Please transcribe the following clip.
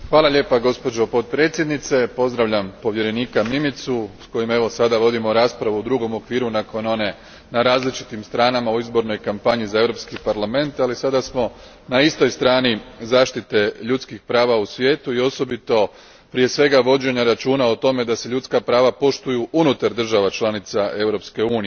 Gospođo potpredsjednice, pozdravljam povjerenika Mimicu s kojim sad vodimo raspravu u drugom okviru nakon one na različitim stranama u izbornoj kampanji za Europski parlament, ali sada smo na istoj strani zaštite ljudskih prava u svijetu i osobito prije svega vođenja računa o tome da se ljudska prava poštuju unutar država članica Europske unije.